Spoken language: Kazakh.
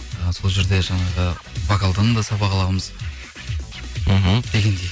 і сол жерде жаңағы вокалдан да сабақ аламыз мхм дегендей